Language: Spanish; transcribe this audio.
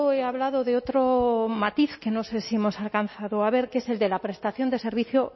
he hablado de otro matiz que no sé si hemos alcanzado a ver que es el de la prestación del servicio